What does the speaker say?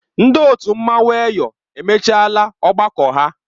Ndị otu mmanwụ Eyọ emechiela ọgbakọ ha.